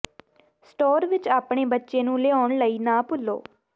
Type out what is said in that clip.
store ਵਿੱਚ ਆਪਣੇ ਬੱਚੇ ਨੂੰ ਲਿਆਉਣ ਲਈ ਨਾ ਭੁੱਲੋ